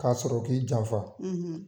K'a sɔrɔ k'i janfa